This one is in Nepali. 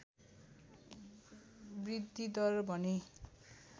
वृद्धिदर भने